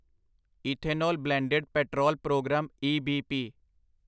ethanol blended petrol programme EBP